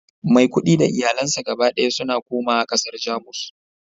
maikudi da iyalansa gaba daya suna komawa kasar Jamus